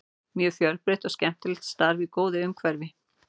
Mjög fjölbreytt og skemmtilegt starf í góðu umhverfi.